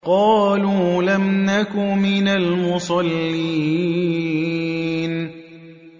قَالُوا لَمْ نَكُ مِنَ الْمُصَلِّينَ